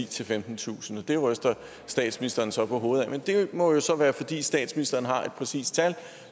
til femtentusind og det ryster statsministeren så på hovedet af men det må jo så være fordi statsministeren har et præcist tal